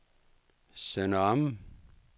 Sønder Omme